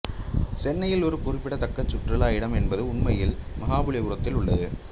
சென்னையில் ஒரு குறிப்பிடத்தக்கச் சுற்றுலா இடம் என்பது உண்மையில் மஹாபலிபுரத்தில் உள்ளது